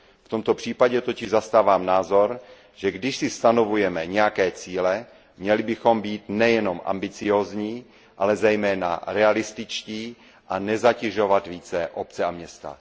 V tomto případě totiž zastávám názor, že když si stanovujeme nějaké cíle, měli bychom být nejenom ambiciózní, ale zejména realističtí a nezatěžovat více obce a města.